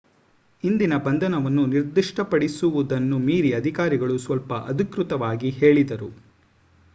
ಇಂದಿನ ಬಂಧನವನ್ನು ನಿರ್ದಿಷ್ಟಪಡಿಸು ವುದನ್ನು ಮೀರಿ ಅಧಿಕಾರಿಗಳು ಸ್ವಲ್ಪ ಅಧಿಕೃತವಾಗಿ ಹೇಳಿದರು